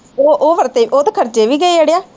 ਉਹ ਉਹ ਖਰਚੇ ਉਹ ਤੇ ਖ਼ਰਚੇ ਵੀ ਗਏ ਆੜਿਆ।